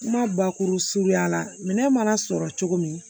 Kuma bakuru suruya la minɛn mana sɔrɔ cogo min